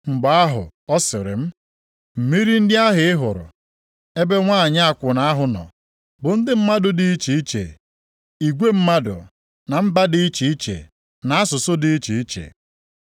Mgbe ahụ ọ sịrị m, “Mmiri ndị ahụ ị hụrụ, ebe nwanyị akwụna ahụ nọ, bụ ndị mmadụ dị iche iche, igwe mmadụ, na mba dị iche iche na nʼasụsụ dị iche iche.